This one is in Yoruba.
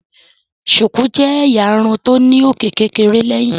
Shuku jé ẹyà Irun tó ní òkè kékeré léyìn.